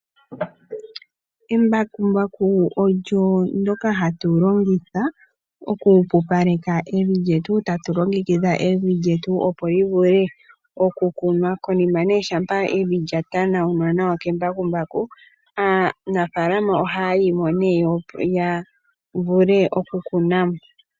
Embakumbaku olyo ndyoka hatu longitha okupupaleka evi lyetu, tatu longitha evi lyetu opo li vule okukunwa, konima shampa evi lya tanawunwa nawa kembakumbaku aanafaalama ohaya yi mo nee ya vule okukuna mo.